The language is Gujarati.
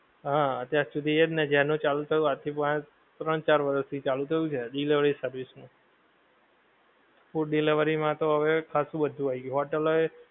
હા અત્યાર સુધી એજ ને જ્યારનું ચાલુ થયું આજથી વાંહે ત્રણ ચાર વરસ થી ચાલુ થયું છે delivery service નું. food delivery માં તો હવે ખાસું બધુ આવી ગયું હોટેલો એ,